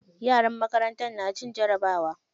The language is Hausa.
Yaran makarantar na cin jarabawa.